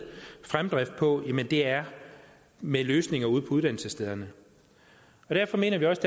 fremdrift på er med løsninger ude på uddannelsesstederne og derfor mener vi også